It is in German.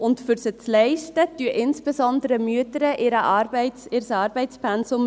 Und um sie zu leisten, reduzieren insbesondere Mütter ihr Arbeitspensum.